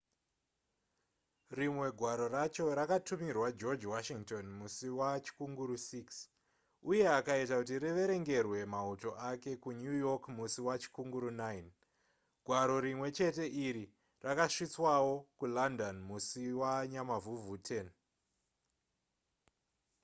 rimwe gwaro racho rakatumirwa george washington musi wachikunguru 6 uye akaita kuti riverengerwe mauto ake kunew york musi wachikunguru 9 gwaro rimwe chete iri rakasvitswawo kulondon musi wanyamavhuvhu 10